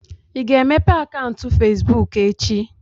Ị ga-emepe akaụntụ fesbụụk echi?